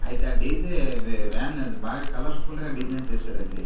అయితే ఆ డీజే వే వ్యాన్ అది బాగా కలర్ఫుల్ గా డిజైన్ చేశారండీ.